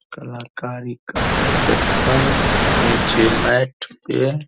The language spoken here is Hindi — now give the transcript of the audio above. कलाकारी का प्रदर्शन नीचे मैट पे --